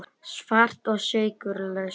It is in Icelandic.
Svart og sykurlaust.